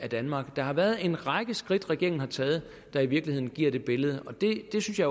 i danmark der har været en række skridt regeringen har taget der i virkeligheden giver det billede og det synes jeg